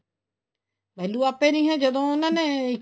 value ਆਪੇ ਨਹੀਂ ਹੈ ਜਦੋਂ ਉਹਨਾ ਨੇ